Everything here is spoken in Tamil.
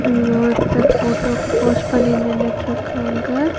இங்க ஒருத்தர் போட்டோக்கு போஸ் பண்ணி நின்னுட்ருக்காங்க.